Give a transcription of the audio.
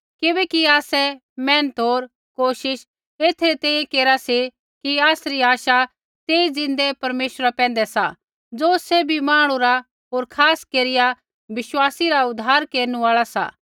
किबैकि आसै मेहनत होर कोशिश एथै री तैंईंयैं केरा सी कि आसरी आशा तेई ज़िन्दै परमेश्वरा पैंधै सा ज़ो सैभी मांहणु रा होर खास केरिया विश्वासी रा उद्धार केरनु आल़ा सा